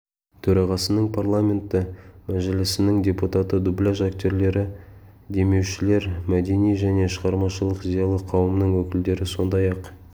төрағасының парламенті мәжілісінің депутаты дубляж актерлері демеушілер мәдени және шығармашылық зиялы қауымның өкілдері сондай-ақ